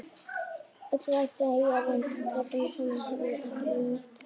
Öll röntgentæki eiga röntgenlampann sameiginlegan, en ef til vill ekki neitt annað!